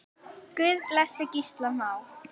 Guð blessi Gísla Má.